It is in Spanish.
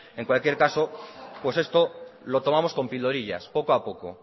en cualquier caso pues esto lo tomamos con pildorillas poco a poco